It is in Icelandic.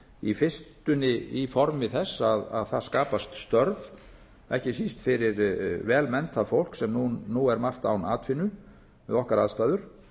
í fyrstunni í formi þess að það skapast störf ekki síst fyrir vel menntað fólk sem nú er margt án atvinnu við okkar aðstæður